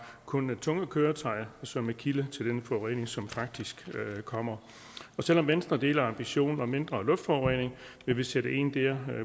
kun tunge køretøjer som er kilde til den forurening som faktisk kommer og selv om venstre deler ambitionen om mindre luftforurening vil vi sætte ind dér